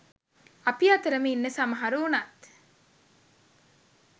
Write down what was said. අපි අතරම ඉන්න සමහරු වුනත්